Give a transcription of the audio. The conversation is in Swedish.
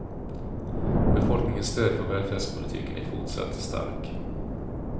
Befolkningens stöd för välfärdspolitiken är fortsatt stark.